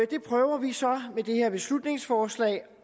det prøver vi så med det her beslutningsforslag